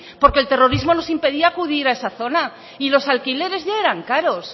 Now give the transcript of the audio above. porque el terrorismo nos impedía acudir a esa zona y los alquileres ya eran caros